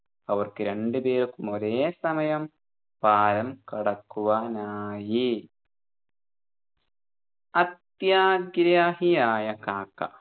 അവർക്ക് രണ്ടുപേർക്കും ഒരേ സമയം പാലം കടക്കുവാനായി അത്യാഗ്രഹിയായ കാക്ക